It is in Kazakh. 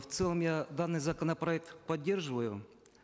в целом я данный законопроект поддерживаю